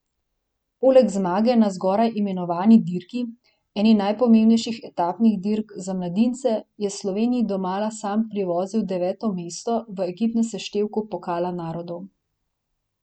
Poleg zmage na zgoraj imenovani dirki, eni najpomembnejših etapnih dirk za mladince, je Sloveniji domala sam privozil deveto mesto v ekipnem seštevku Pokala narodov.